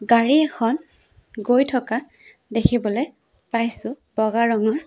গাড়ী এখন গৈ থকা দেখিবলে পাইছোঁ বগা ৰঙৰ।